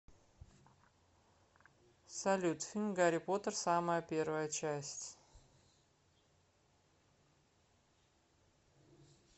салют фильм гарри потер самая первая часть